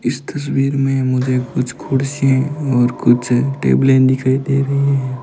इस तस्वीर में मुझे कुछ कुर्सी और कुछ टेबलें दिखाई दे रही हैं।